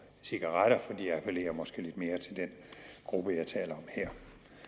cigaretter for de appellerer måske lidt mere til den gruppe jeg taler om her